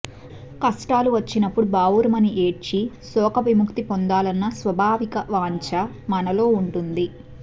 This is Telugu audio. కష్టాలు వచ్చినప్పుడు బావురుమని ఏడ్చి శోకవిముక్తి పొందాలన్న స్వాభావిక వాంచ మనలో ఉంటుంది